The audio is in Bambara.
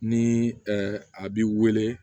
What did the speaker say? Ni a b'i wele